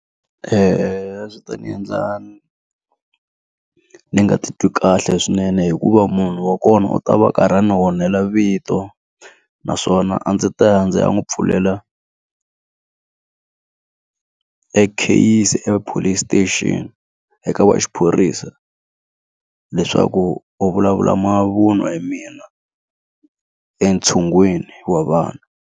a swi ta ni endla ni ni nga ti twi kahle swinene hikuva munhu wa kona u ta va karhi a ni onhela vito naswona a ndzi ta ya ndzi ya n'wi pfulela ekheyisi ePolice Station eka va xiphorisa leswaku u vulavula mavun'wa hi mina entshungwini wa vana.